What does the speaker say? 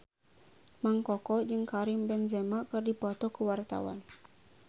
Mang Koko jeung Karim Benzema keur dipoto ku wartawan